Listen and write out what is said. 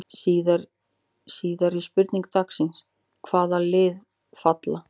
Síðari spurning dagsins: Hvaða lið falla?